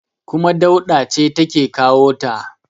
kuma Dauda ce take kawo ta